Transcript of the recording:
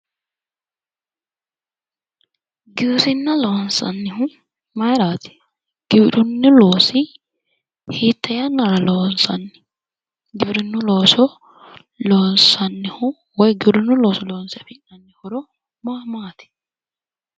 Giwirinna loonsannihu mayraati giwirinnu looso hiitte yannara loonsanni giwirinnu looso loonse afi'nanni horo maa maati?